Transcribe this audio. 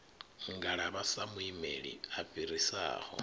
ngalavha sa muimeli a fhirisaho